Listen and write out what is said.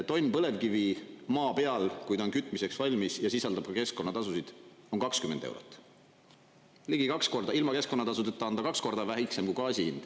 Tonn põlevkivi maa peal, kui ta on kütmiseks valmis ja sisaldab ka keskkonnatasusid, on 20 eurot, ligi kaks korda … ilma keskkonnatasudeta on ta kaks korda väiksem kui gaasi hind.